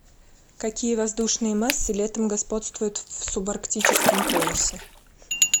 какие воздушные массы летом господствуют в субарктическом поясе